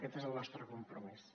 aquest és el nostre compromís